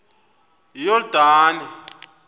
iyordane